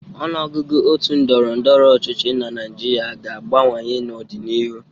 Ọnụọgụgụ òtù ndọrọ ndọrọ ọchịchị na Naịjirịa ga-abawanye n'ọdịnihu.